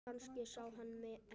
Kannski sá hann mig ekki.